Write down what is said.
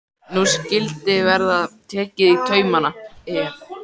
Nú skyldi verða tekið í taumana, ef.